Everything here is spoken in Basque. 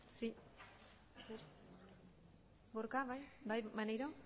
sí gorka bai bai maneiro